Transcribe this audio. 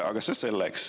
Aga see selleks.